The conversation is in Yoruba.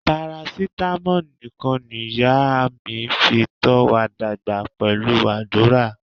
Parasitamo nikan niya mi fi to wa dagba pelu adura.